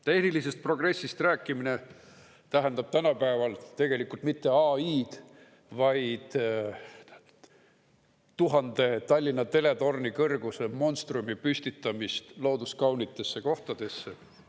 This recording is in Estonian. Tehnilisest progressist rääkimine tähendab tänapäeval tegelikult mitte AI-d, vaid tuhande Tallinna Teletorni kõrguse monstrumi püstitamist looduskaunitesse kohtadesse.